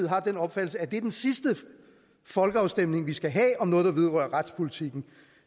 har den opfattelse at det er den sidste folkeafstemning vi skal have om noget der vedrører retspolitikken